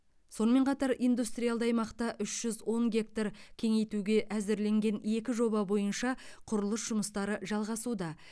сонымен қатар индустриалды аймақты үш жүз он гектар кеңейтуге әзірленген екі жоба бойынша құрылыс жұмыстары жалғасуда